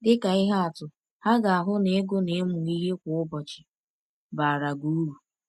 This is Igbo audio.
Dị ka ihe atụ, ha ga-ahụ na ịgụ na ịmụ ihe kwa ụbọchị baara gị uru.